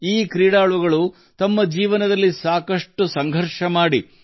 ಈ ಪ್ರತಿಭಾವಂತರು ತೀರಾ ಸಾಮಾನ್ಯ ಕುಟುಂಬದಿಂದ ಬಂದವರು